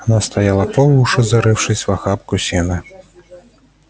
она стояла по уши зарывшись в охапку сена